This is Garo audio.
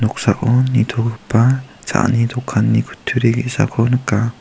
nitogipa cha·ani dokanni kutturi ge·sako nika.